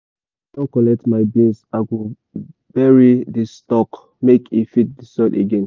once i don collect my beans i go bury di stalk make e feed the soil again.